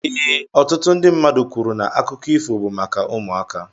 Ee, ọtụtụ ndị mmadụ kwuru na akụkọ ifo bụ maka ụmụaka.